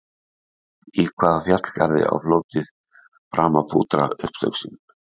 Í hvaða fjallgarði á fljótið Brahmaputra upptök sín?